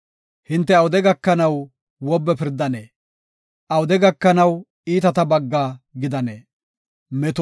“Hinte awude gakanaw wobbe pirdanee? awude gakanaw iitata bagga gidanee?” Salaha